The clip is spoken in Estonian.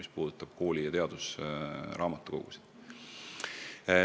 Seda võib järeldada ka sellest skeemist, millised raamatukogud meil olemas on.